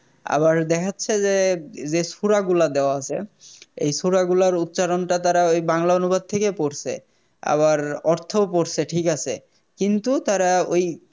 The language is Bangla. আবার দেখাচ্ছে যে সূরা গুলা দেওয়া আছে এই সূরা গুলার উচ্চারণটা তারা ওই বাংলা অনুবাদ থেকে পড়ছে আবার অর্থও পড়ছে ঠিক আছে কিন্তু তারা ওই